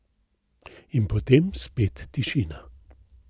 In potem spet tišina.